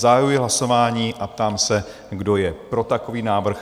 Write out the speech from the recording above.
Zahajuji hlasování a ptám se, kdo je pro takový návrh?